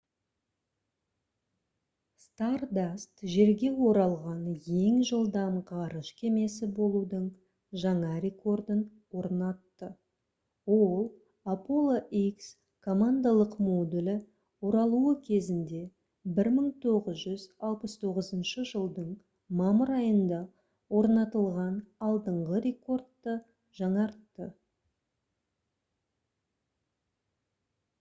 stardust жерге оралған ең жылдам ғарыш кемесі болудың жаңа рекордын орнатты ол apollo x командалық модулі оралуы кезінде 1969 жылдың мамыр айында орнатылған алдыңғы рекордты жаңартты